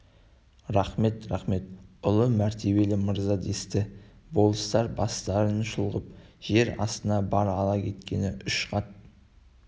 рақмет рақмет ұлы мәртебелі мырза десті болыстар бастарын шұлғып жер астына бар ала кеткені үш қат